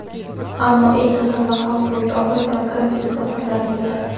Ammo eng muhim va hal qiluvchi omil – demokratik islohotlar yo‘lidir.